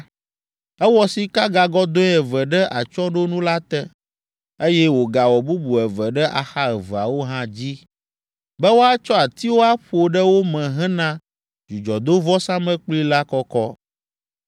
Ewɔ sikagagɔdɔ̃e eve ɖe atsyɔ̃ɖonu la te, eye wògawɔ bubu eve ɖe axa eveawo hã dzi be woatsɔ atiwo aƒo ɖe wo me hena dzudzɔdovɔsamlekpui la kɔkɔ.